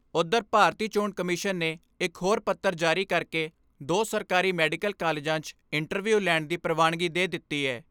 ਉਧਰ ਭਾਰਤੀ ਚੋਣ ਕਮਿਸ਼ਨ ਨੇ ਇਕ ਹੋਰ ਪੱਤਰ ਜਾਰੀ ਕਰਕੇ ਦੋ ਸਰਕਾਰੀ ਮੈਡੀਕਲ ਕਾਲਜਾਂ 'ਚ ਇੰਟਰਵਿਊ ਲੈਣ ਦੀ ਪ੍ਰਵਾਨਗੀ ਦੇ ਦਿੱਤੀ ਏ।